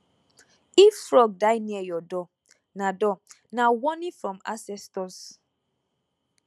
if frog die near your door na door na warning from ancestors